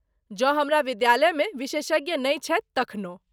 जौं हमरा विद्यालयमे विशेषज्ञ नहि छथि तखनहु।